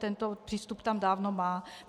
Tento přístup tam dávno má.